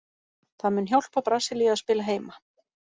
Það mun hjálpa Brasilíu að spila heima.